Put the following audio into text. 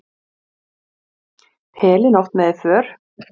Dóra í Hafnarfirði var undrandi þegar ég hringdi og gat ekki leynt því.